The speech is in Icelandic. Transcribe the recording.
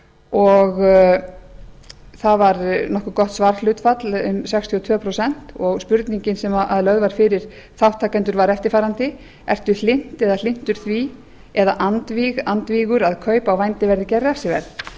og það var nokkuð gott svarhlutfall um sextíu og tvö prósent og spurningin sem lögð var fyrir þátttakendur var eftirfarandi ertu hlynnt eða hlynntur því eða andvíg andvígur að kaup á vændi verði gerð